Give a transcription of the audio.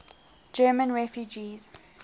german refugees